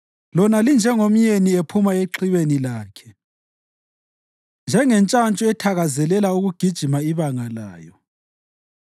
Lona linjengomyeni ephuma exhibeni lakhe, njengentshantshu ethakazelela ukugijima ibanga layo.